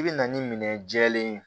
I bɛ na ni minɛn jɛlen ye